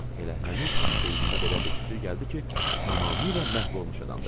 Bax elə həmin an beynimə belə bir fikir gəldi ki, tamamilə məhv olmuş adamdır.